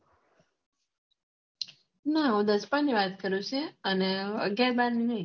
ના હું દસમા ની વાત કરું છે અને અગિયાર બાર ની નઈ